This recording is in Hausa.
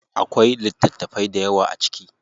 Akwai littatafai dayawa a ciki.